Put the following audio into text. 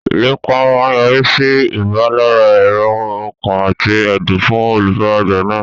Ìlépa máa yọrí sí ìpalára èrò ọkàn àti ẹ̀dùn fún olùfaragbá náà.